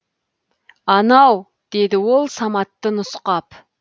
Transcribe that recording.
анау деді ол саматты нұсқап